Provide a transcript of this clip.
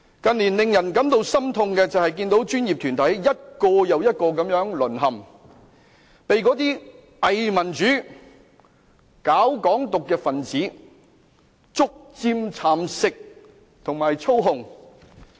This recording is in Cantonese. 近年令人感到心痛的是，看到專業團體一個又一個地淪陷，被那些偽民主、搞"港獨"的分子逐漸蠶食和操控。